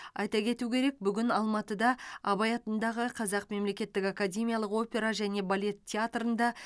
айта кету керек бүгін алматыда абай атындағы қазақ мемлекеттік академиялық опера және балет театрында